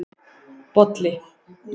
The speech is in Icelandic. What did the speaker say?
Bolli